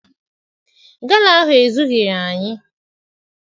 Gala ahụ ezughịrị anyị.